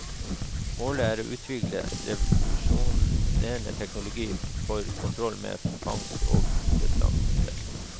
Målet er å utvikle revolusjonerende teknologi for kontroll med fangst og bestander.